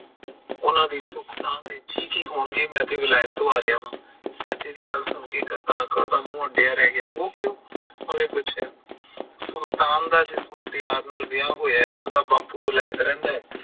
ਉਹਨਾਂ ਦੀ ਸੁੱਖ ਸਾਂਦ ਠੀਕ ਹੀ ਹੋਣਗੇ ਮੈਂ ਤਾਂ ਵੈਲਤ ਤੋਂ ਆ ਰਿਹਾ ਵਾ, ਚਾਚੇ ਦੀ ਗੱਲ ਸੁਣ ਕੇ ਕਰਤਾਰ ਕੋਰ ਦਾ ਮੂੰਹ ਅੱਡਿਆ ਰਹਿ ਗਿਆ, ਉਹ ਕਿਉਂ, ਓਹਨੇ ਪੁੱਛਿਆ, ਸੁਲਤਾਨ ਦਾ ਜਿਸ ਮੁਟਿਆਰ ਨਾਲ ਵਿਆਹ ਹੋਇਆ ਹੈ ਓਹਦਾ ਬਾਪੂ ਵੈਲਤ ਰਹਿੰਦਾ ਐ?